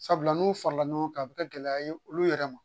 Sabula n'u farala ɲɔgɔn kan a bɛ kɛ gɛlɛya ye olu yɛrɛ ma